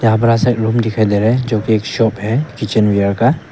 यहां पर रूम दिखाई दे रहे हैं जो कि एक शॉप है किचनवेयर का।